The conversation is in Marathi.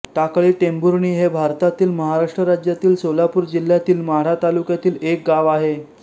टाकळीटेंभुर्णी हे भारतातील महाराष्ट्र राज्यातील सोलापूर जिल्ह्यातील माढा तालुक्यातील एक गाव आहे